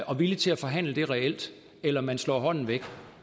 og villig til at forhandle det reelt eller om man slår hånden væk